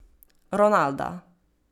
Ronalda.